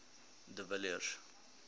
de villiers